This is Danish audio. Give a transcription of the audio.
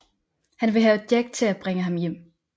Han vil have Jack til at bringe ham hjem